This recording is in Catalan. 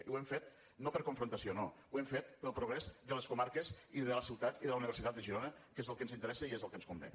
i ho hem fet no per confrontació no ho hem fet pel progrés de les comarques i de la ciutat i de la universitat de girona que és el que ens interessa i és el que ens convé